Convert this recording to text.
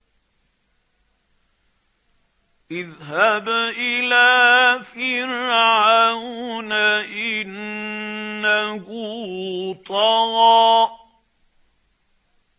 اذْهَبْ إِلَىٰ فِرْعَوْنَ إِنَّهُ طَغَىٰ